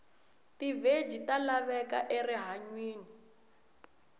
tiveji talavheka erihhanywini